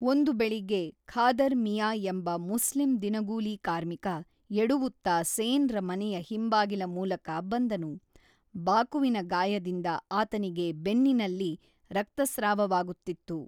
ಒಂದು ಬೆಳಿಗ್ಗೆ, ಖಾದರ್ ಮಿಯಾ ಎಂಬ ಮುಸ್ಲಿಂ ದಿನಗೂಲಿ ಕಾರ್ಮಿಕ ಎಡವುತ್ತಾ ಸೇನ್‌ರ ಮನೆಯ ಹಿಂಬಾಗಿಲ ಮೂಲಕ ಬಂದನು, ಬಾಕುವಿನ ಗಾಯದಿಂದ ಆತನಿಗೆ ಬೆನ್ನಿನಲ್ಲಿ ರಕ್ತಸ್ರಾವವಾಗುತ್ತಿತ್ತು.